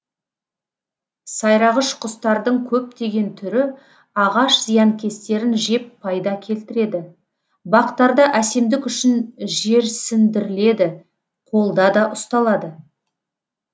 сайрағыш құстардың көптеген түрі ағаш зиянкестерін жеп пайда келтіреді бақтарда әсемдік үшін жерсіндіріледі қолда да ұсталады